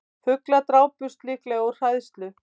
Fuglar drápust líklega úr hræðslu